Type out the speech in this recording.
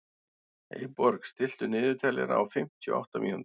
Eyborg, stilltu niðurteljara á fimmtíu og átta mínútur.